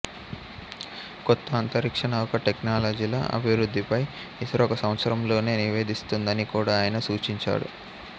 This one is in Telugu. కొత్త అంతరిక్ష నౌక టెక్నాలజీల అభివృద్ధిపై ఇస్రో ఒక సంవత్సరంలోనే నివేదిస్తుందని కూడా ఆయన సూచించాడు